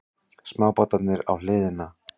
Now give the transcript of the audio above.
Smábátarnir á hliðina.